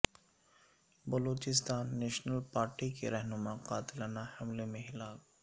Balochistan national party کے رہنما قاتلانہ حملے میں ہلاک